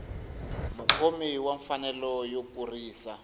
mukhomi wa mfanelo yo kurisa